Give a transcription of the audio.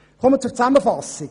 Ich komme zur Zusammenfassung: